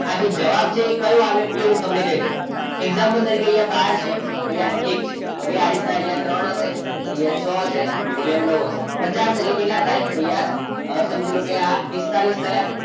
આજે જવાબ છે એ કયો આવે એ હું તમને કહી દઉં example તરીકે અહીંયા બાર છે અહીંયા એક છે okay અહીંયા આ રીતના ત્રણ હશે અહીંયા છ હશે અહિયાં નવ હશે. પચાસ એટલે કેટલા થાય તમે સમજી લો કે પિસ્તાળીસ થાય.